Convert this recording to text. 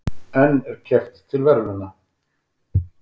En er keppt til verðlauna?